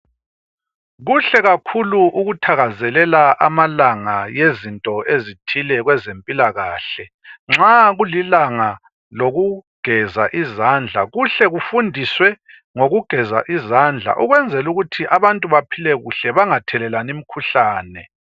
Kuhle kakhulu ukuthakazelela amalanga ezinto ezithile kwezezimpilakahle. Nxa kulilanga lokugeza izandla kuhle kufundiswe ngokugeza izandla ukwenzelukuthi abantu baphile kuhle bangathelelani imikhuhlane.